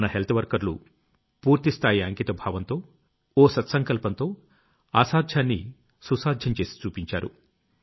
మన హెల్త్ వర్కర్లు పూర్తి స్థాయి అంకిత భావంతో ఓ సత్సంకల్పంతో అసాధ్యాన్ని సుసాధ్యం చేసి చూపించారు